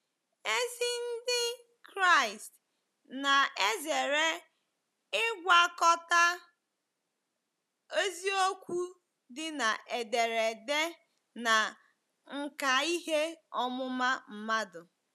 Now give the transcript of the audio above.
Ezi Ndị Kraịst na-ezere ịgwakọta eziokwu dị na ederede na nkà ihe ọmụma mmadụ.